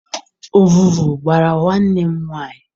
Ọvụvụ gbara nwanne m nwaanyị.